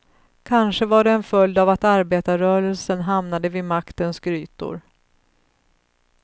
Kanske var det en följd av att arbetarrörelsen hamnade vid maktens grytor.